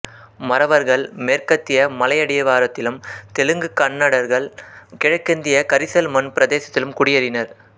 மறவர்கள் மேற்கத்திய மலையடிவாரத்திலும் தெலுங்கு கன்னடர்கள் கிழக்கத்திய கரிசல் மண் பிரதேசத்திலும் குடியேறினர்